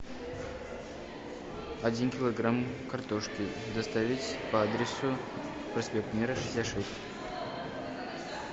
один килограмм картошки доставить по адресу проспект мира шестьдесят шесть